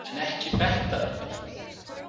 En ekki þetta reyndar.